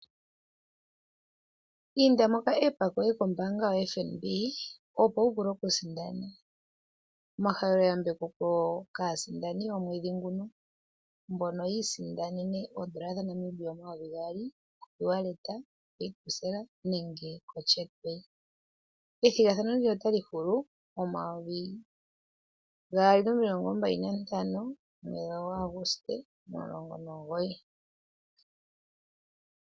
Inda moka app koye kombinga kaFNB opo wu vule okusindana. Omahaleloyambeko kaasindani yomwedhi nguno mbono yi isindanene oondola omayovi geli gaali oku pitila koE wallet, ko pay 2 cell nenge koChat pay. Ethigathano ndino otali hulu mo19 Aguste 2025.